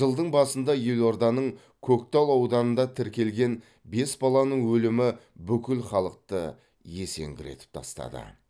жылдың басында елорданың көктал ауданында тіркелген бес баланың өлімі бүкіл халықты есеңгіретіп тастады